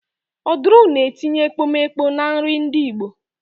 Oduru na-etinye ekpomeekpo na nri ndị igbo